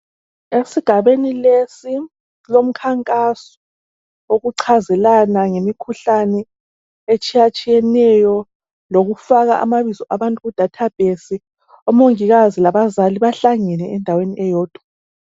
Esigabeni lesi kulomkhankaso wokuchazelana ngemikhuhlane etshiyatshiyaneyo, lokufaka amabizo abantu kuDatabase. Omongikazi labazali bahlangene endaweni eyodwa.